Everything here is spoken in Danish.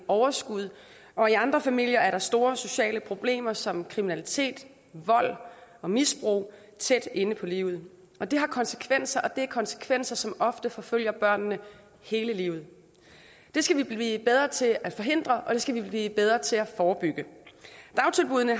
overskud og i andre familier har man store sociale problemer som kriminalitet vold og misbrug tæt inde på livet det har konsekvenser og det er konsekvenser som ofte forfølger børnene hele livet det skal vi blive bedre til at forhindre og det skal vi blive bedre til at forebygge dagtilbuddene